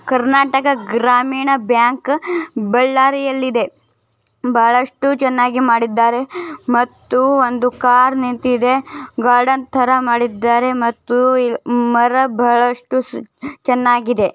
Karnataka Grameena bank ಬಳ್ಳಾರಿಯಲ್ಲಿ ಇದೆ ಬಹಳಷ್ಟು ಚೆನ್ನಾಗಿ ಮಾಡಿದ್ದಾರೆ ಮತ್ತು ಒಂದು ಕಾರ್ ನಿಂತಿದೆ ಗಾರ್ಡನ್ ತರ ಮಾಡಿದಾರೆ ಮತ್ತು ಮರ ಬಹಳಷ್ಟು ಚೆನ್ನಾಗಿದೆ.